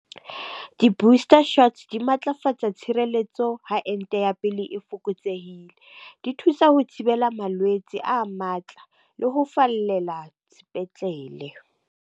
Di-booster shots di matlafatsa tshireletso ha enta ya pele e fokotsehile. Di thusa ho thibela malwetse a matla le ho fallela sepetlele.